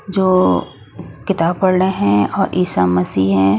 जो किताब पढ़ रहे हैं और ईसा मसीह हैं।